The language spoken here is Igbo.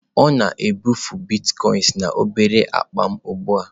Ọ na-ebufe Bitkoinsị na obere akpa m ugbu a.